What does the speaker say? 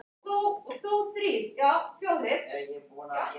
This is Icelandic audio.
Kannski var henni að batna ofurlítið.